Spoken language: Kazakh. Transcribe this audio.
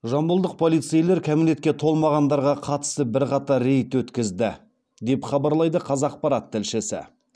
жамбылдық полицейлер кәмелетке толмағандарға қатысты бірқатар рейд өткізді деп хабарлайды қазақпарат тілшісі